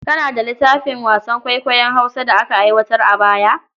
Kana da littafin wasan kwaikwayon Hausa da aka aiwatar a baya?